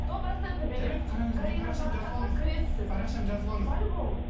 сто процентті беремін